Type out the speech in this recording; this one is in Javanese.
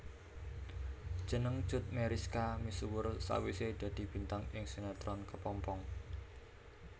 Jeneng Cut Meyriska misuwur sawisé dadi bintang ing sinetron Kepompong